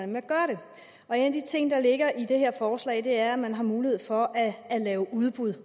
man gør det og en af de ting der ligger i det her forslag er at man har mulighed for at lave udbud